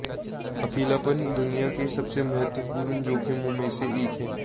अकेलापन दुनिया के सबसे महत्त्वपूर्ण जोखिमों में से एक है